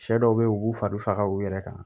Sɛ dɔw be ye u b'u fari faga u yɛrɛ kan